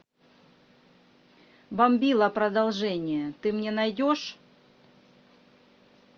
бомбила продолжение ты мне найдешь